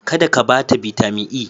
Kada ka bata Bitamin E.